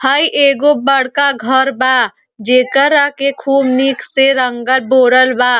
हई एगो बड़का घर बा। जेकरा के खूब निकसे रंगल बोराल बा।